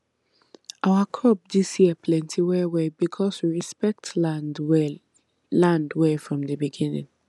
our crop this year plenty well well because we inspect land well land well from the beginning